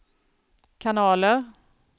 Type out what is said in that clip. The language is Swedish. kanaler